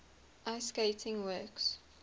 ice skating works